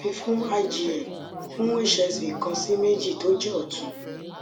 afi fun igm fun hsv kan si meji to je otun